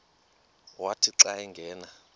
wathi xa angena